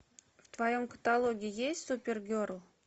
в твоем каталоге есть супергерл